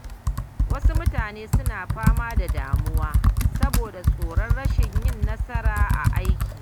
Wasu mutane suna fama da damuwa saboda tsoron rashin yin nasara a aiki.